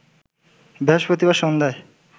বৃহস্পতিবার সন্ধ্যায়